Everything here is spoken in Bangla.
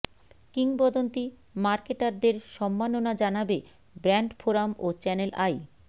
কিংবদন্তি মার্কেটারদের সম্মাননা জানাবে ব্র্যান্ড ফোরাম ও চ্যানেল আই